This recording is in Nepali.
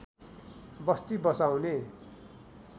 बस्ती बसाउने